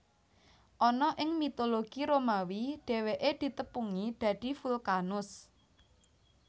Ana ing mitologi Romawi dhèwèké ditepungi dadi Vulkanus